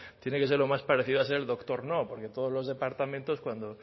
tiene que ser lo más parecido a ser el doctor no porque todos los departamentos cuando